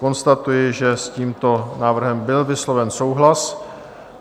Konstatuji, že s tímto návrhem byl vysloven souhlas.